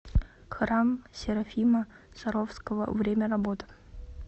храм серафима саровского время работы